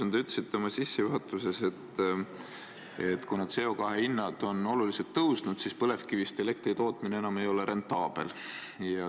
Te ütlesite oma sissejuhatuses, et kuna CO2 hinnad on oluliselt tõusnud, siis põlevkivist elektri tootmine ei ole enam rentaabel.